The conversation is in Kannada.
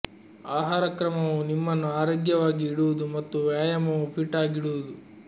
ಆಹಾರ ಕ್ರಮವು ನಿಮ್ಮನ್ನು ಆರೋಗ್ಯವಾಗಿ ಇಡುವುದು ಮತ್ತು ವ್ಯಾಯಾಮವು ಫಿಟ್ ಆಗಿಡುವುದು